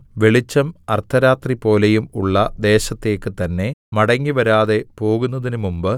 വെളിച്ചം അർദ്ധരാത്രിപോലെയും ഉള്ള ദേശത്തേക്ക് തന്നേ മടങ്ങിവരാതെ പോകുന്നതിനുമുമ്പ്